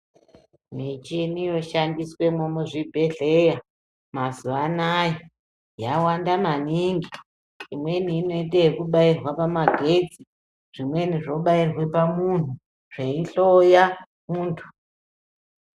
Michini yoshandiswemo muzvibhedhlera mazuva anaya yawanda maningi imweni inoite ekubairwe pamagetsi zvimweni zvobairwe pamuntu zveihloya muntu.